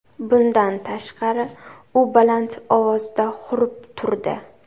Bundan tashqari, u baland ovozda hurib turdi.